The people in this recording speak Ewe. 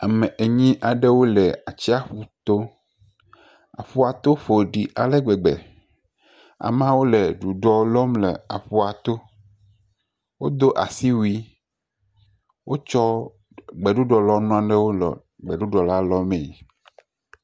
Ame enyi aɖewo le atsiaƒu to, aƒua to ƒo ɖi ale gbegbe, ameawo le ɖuɖɔ lɔm le aƒua to, wodo asiwui, wotsɔ gbeɖuɖɔlɔnu nanewo le gbeɖuɖɔ la lɔmee.